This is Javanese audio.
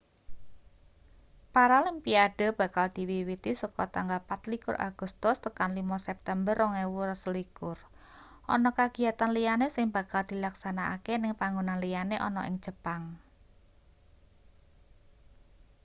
paralimpiade bakal diwiwiti saka tanggal 24 agustus tekan 5 september 2021 ana kagiyatan liyane sing bakal dilaksanakake ning panggonan liyane ana ning jepang